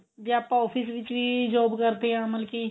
ਜੇ ਆਪਾਂ office ਵਿੱਚ ਵੀ job ਕਰਦੇ ਆ ਮਤਲਬ ਕੀ